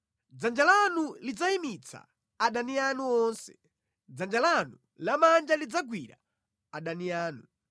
Dzanja lanu lidzayimitsa adani anu onse; dzanja lanu lamanja lidzagwira adani anu.